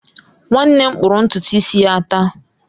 Nwanne m kpụrụ ntutu isi ya taa